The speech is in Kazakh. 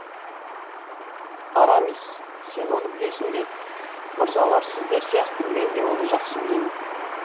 арамис сен оны білесің бе мырзалар сіздер сияқты мен де оны жақсы білемін